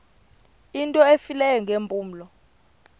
into efileyo ngeempumlo